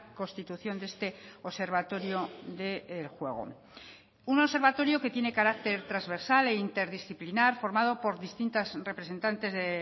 constitución de este observatorio del juego un observatorio que tiene carácter transversal e interdisciplinar formado por distintas representantes de